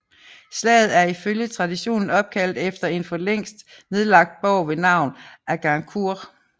Slaget er i følge traditionen opkaldt efter en for længst nedlagt borg ved navn Agincourt